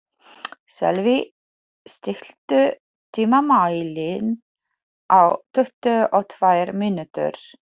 Sölvi, stilltu tímamælinn á tuttugu og tvær mínútur.